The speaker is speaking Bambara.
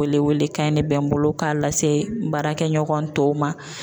Wele wele kan in de bɛ n bolo k'a lase n baarakɛ ɲɔgɔn tɔw ma.